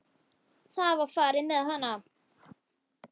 Það var farið með hana.